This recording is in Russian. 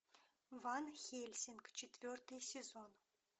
ван хельсинг четвертый сезон